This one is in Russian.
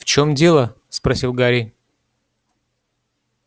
в чём дело спросил гарри